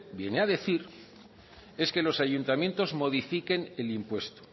viene a decir es que los ayuntamientos modifiquen el impuesto